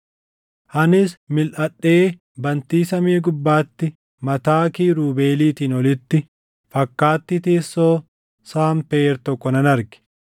Anis milʼadhee bantii samii gubbaatti mataa kiirubeeliitiin olitti fakkaattii teessoo sanpeer tokko nan arge.